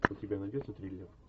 у тебя найдется триллер